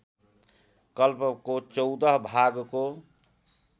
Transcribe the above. कल्पको १४ भागको